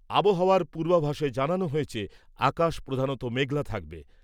আবহাওয়ার পূর্বাভাসে জানানো হয়েছে আকাশ প্রধানত মেঘলা থাকবে।